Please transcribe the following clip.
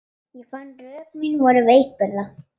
Ég fann að rök mín voru veikburða.